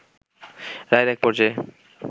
রায়ের এক পর্যায়ে